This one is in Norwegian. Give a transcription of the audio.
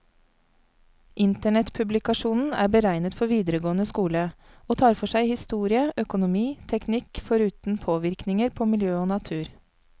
Internettpublikasjonen er beregnet for videregående skole, og tar for seg historie, økonomi, teknikk, foruten påvirkninger på miljø og natur.